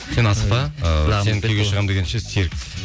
сен асықпа ы сен күйеуге шығамын дегенше серік